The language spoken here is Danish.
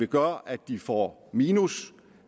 gør at de får minus